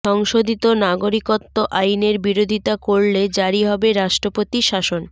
সংশোধিত নাগরিকত্ব আইনের বিরধিতা করলে জারি হবে রাষ্ট্রপতি শাসন